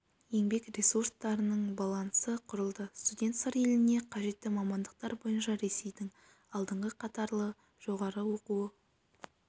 еңбек ресурстарының балансы құрылды студент сыр еліне қажетті мамандықтар бойынша ресейдің алдыңғы қатарлы жоғарғы оқу